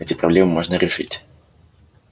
эти проблемы можно решить